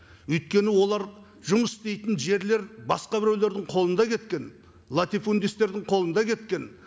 өйткені олар жұмыс істейтін жерлер басқа біреулердің қолында кеткен латифундисттердің қолында кеткен